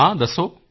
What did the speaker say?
ਹਾਂ ਦੱਸੋ